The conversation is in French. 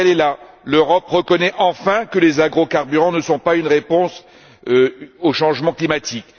L'essentiel est là l'Europe reconnaît enfin que les agrocarburants ne sont pas une réponse au changement climatique.